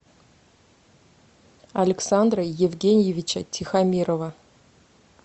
александра евгеньевича тихомирова